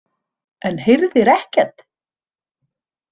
En heyrðir ekkert?